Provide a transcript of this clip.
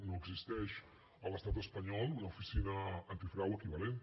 no existeix a l’estat espanyol una oficina antifrau equivalent